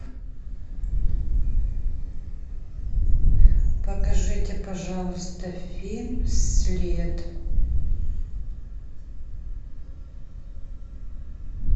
покажите пожалуйста фильм след